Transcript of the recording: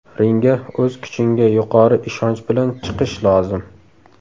Ringga o‘z kuchingga yuqori ishonch bilan chiqish lozim.